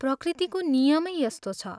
प्रकृतिको नियमै यस्तो छ।